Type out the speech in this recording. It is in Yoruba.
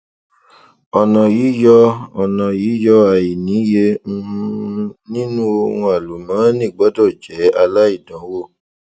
ọnà yíyọ ọnà yíyọ àìníye um nínú ohun àlùmóónì gbọdọ jẹ aláìdánwò